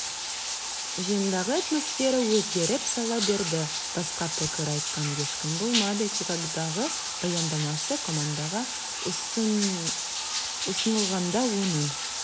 жиындағы атмосфера өзгеріп сала берді басқа пікір айтқан ешкім болмады чикагодағы баяндамасы командаға ұсынылғанда оның